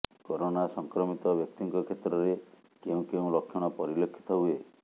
corona ସଂକ୍ରମିତ ବ୍ୟକ୍ତିଙ୍କ କ୍ଷେତ୍ରରେ କେଉଁ କେଉଁ ଲକ୍ଷଣ ପରିଲକ୍ଷିତ ହୁଏ